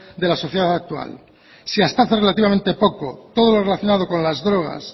de la sociedad actual si hasta hace relativamente poco todo lo relacionado con las drogas